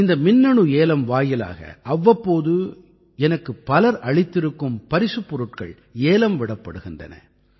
இந்த மின்னணு ஏலம் வாயிலாக அவ்வப்போது எனக்குப் பலர் அளித்திருக்கும் பரிசுப் பொருட்கள் ஏலம் விடப்படுகின்றன